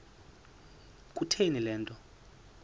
kutheni le nto